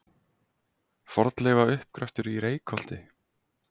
Fornleifauppgröftur í Reykholti.